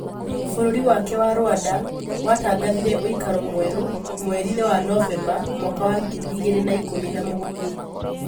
Bũrũri wake wa Rwanda watangathire ũikaro mwerũ mweri-inĩ wa Novemba mwaka wa ngiri igĩrĩ na ikũmi na mũgwanja.